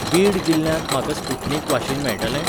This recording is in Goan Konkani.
बीड जिल्ल्यांत म्हाका स्पुटनिक वाशीन मेळटलें?